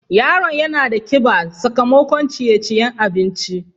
Yaron yana da kiba sakamakon ceye-ceyen abinci.